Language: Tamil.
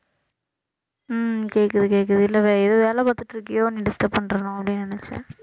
உம் கேக்குது கேக்குது இல்ல வே~ ஏதாவது வேலை பாத்துட்டு இருக்கியோ உன்னை disturb பண்றனோ அப்படின்னு நினைச்சேன்